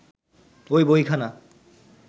ঐ বইখানা